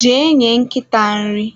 jee nye nkịta nri!